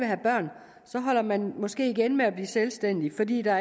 have børn holder man måske igen med at blive selvstændig fordi der